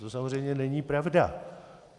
To samozřejmě není pravda.